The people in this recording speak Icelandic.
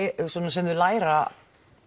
sem þau læra